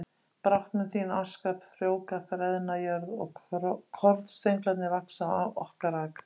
Brátt mun þín aska frjóvga freðna jörð og kornstönglarnir vaxa á okkar akri